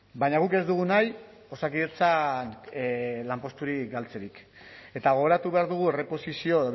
baina guk ez dugu nahi osakidetzan lanposturi galtzerik eta gogoratu behar dugu erreposizio